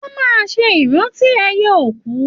Wọn máa n ṣe ìrántí ẹyẹ òkú.